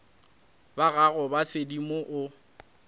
ba gago ba sedimo o